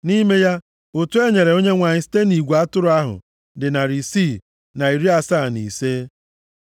Nʼime ya, ụtụ e nyere Onyenwe anyị site nʼigwe atụrụ ahụ dị narị isii na iri asaa na ise (675).